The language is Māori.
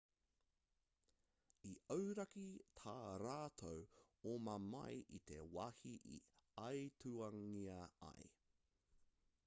i auraki tā rātou oma mai i te wāhi i aituangia ai